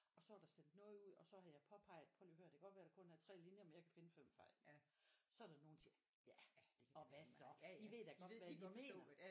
Og så er der sendt noget ud og så har jeg påpeget prøv lige at hør det kan godt være der kun er 3 linjer men jeg kan finde 5 fejl så er der nogle der siger ja og hvad så de ved da godt hvad jeg mener